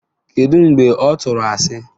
Kedu mgbe ọ tụrụ asị?